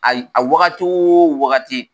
Ayi a wagati o wagati.